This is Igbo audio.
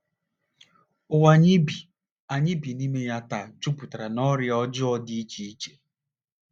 Ụwa anyị bi anyị bi n’ime ya taa jupụtara n’ọrịa ọjọọ dị iche iche.